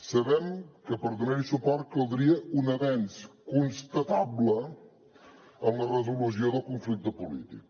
sabem que per donar hi suport caldria un avenç constatable en la resolució del conflicte polític